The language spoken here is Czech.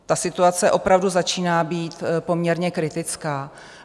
Ta situace opravdu začíná být poměrně kritická.